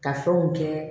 Ka fɛnw kɛ